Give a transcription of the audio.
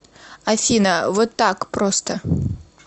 афина вот так просто